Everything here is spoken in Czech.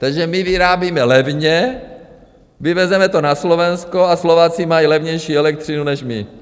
Takže my vyrábíme levně, vyvezeme to na Slovensko a Slováci mají levnější elektřinu než my.